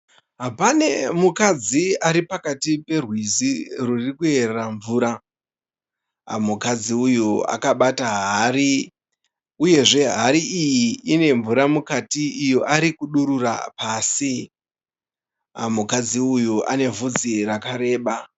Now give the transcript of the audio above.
Pane mukadzi aripakati perwizi rwurikuyerera mvura. Mukadzi uyu akabata hari, uyezve hari iyi inemvura mukati iyo ari kudurura pasi. Mukadzi uyu ane vhudzi rakareba.